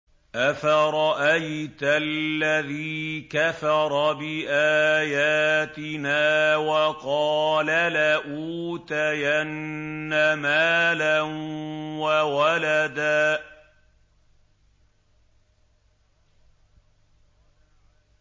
أَفَرَأَيْتَ الَّذِي كَفَرَ بِآيَاتِنَا وَقَالَ لَأُوتَيَنَّ مَالًا وَوَلَدًا